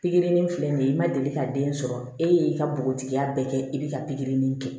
Pikiri ni filɛ nin ye i ma deli ka den sɔrɔ e y'i ka bogotigiya bɛɛ kɛ i b'i ka pikiri nin kɛ